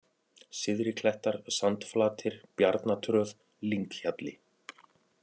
Syðriklettar, Sandflatir, Bjarnatröð, Lynghjalli